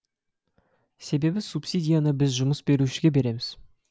себебі субсидияны біз жұмыс берушіге береміз